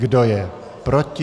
Kdo je proti?